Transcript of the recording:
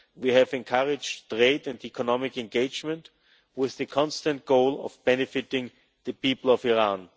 We have encouraged trade and economic engagement with the constant goal of benefiting the people of Iran.